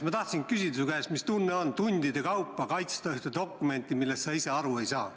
Ma tahtsingi küsida su käest, mis tunne on tundide kaupa kaitsta dokumenti, millest sa ise aru ei saa.